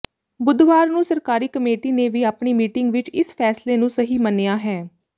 ਬੁੱਧਵਾਰ ਨੂੰ ਸਰਕਾਰੀ ਕਮੇਟੀ ਨੇ ਵੀ ਆਪਣੀ ਮੀਟਿੰਗ ਵਿੱਚ ਇਸ ਫੈਸਲੇ ਨੂੰ ਸਹੀ ਮੰਨਿਆ ਹੈ